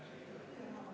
Jah, see läheb maksma.